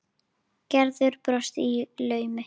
Gerður brosti í laumi.